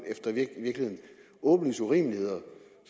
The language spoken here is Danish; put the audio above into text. i virkeligheden åbenlyse urimeligheder